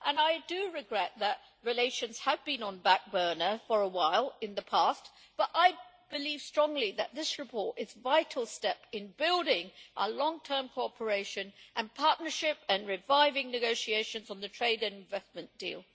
I do regret that relations have been on the back burner for a while in the past, but I believe strongly that this report is a vital step in building a long term cooperation and partnership and reviving negotiations on the trade and investment deal.